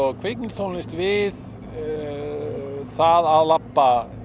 kvikmyndatónlist við það að labba í